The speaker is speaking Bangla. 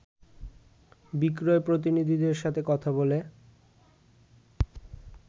বিক্রয় প্রতিনিধিদের সাথে কথা বলে